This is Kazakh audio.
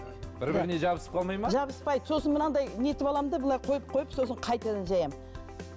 бір біріне жабысып қалмай ма жабыспайды сосын мынадай нетіп аламын да былай қойып қойып сосын қайтадан жаямын